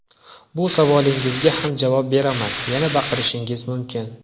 Bu savolingizga ham javob beraman: yana baqirishingiz mumkin”.